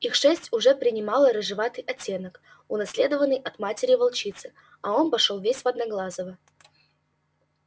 их шерсть уже принимала рыжеватый оттенок унаследованный от матери волчицы а он пошёл весь в одноглазого